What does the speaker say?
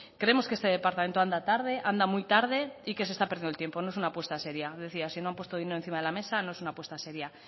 creemos que este departamento anda tarde anda muy tarde y que se está perdiendo el tiempo no es una apuesta seria decía que si no han puesto dinero encima de la mesa no es una apuesta seria